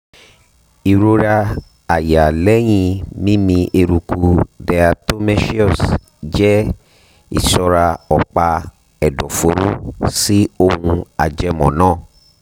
ìrora àyà lẹ́yìn mímí eruku diatomaceous jẹ́ ìsọra ọ̀pá ẹ̀dọ̀fóró sí ohun ajẹmọ́ náà